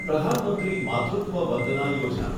પ્રધાન મંત્રી માતૃત્વ વંદના યોજના